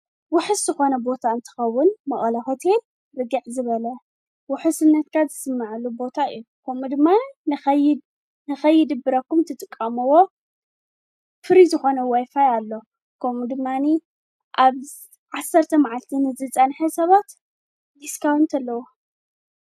ውሕስ ዝኾነ ቦታ እንተኸቡን መቕላ ኾቴል ርጊዕ ዝበለ ውኅ ስነትካ ዝስመዐሉ ቦታ እየ ኮሚኡ ድማን ንኸይድ ብረኩም ትጥቃምዎ ፍሪ ዝኾነ ወይፋይ ኣሎ ከም ድማኒ ኣብ ዓሠርተ መዓልኪንዘፃንሐ ሰባት ዲስካው እንተለዉ።